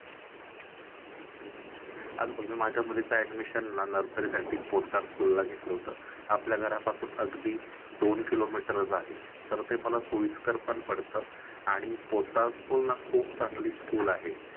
अग बघ माझ्या मुलीची admission ना nursary साठी पोतदार school ला घेतलं होतं. आपल्या घरापासून अगदी दोन किलोमीटर आहे तर ते मला सोयीस्कर पडतं आणि पोतदार school ना खूप चांगली school आहे.